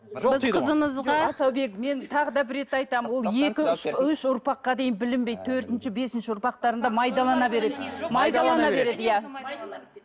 біз қызымызға асаубек мен тағы да бір рет айтамын ол екі үш ұрпаққа дейін білінбейді төртінші бесінші ұрпақтарында майдалана береді майдалана береді иә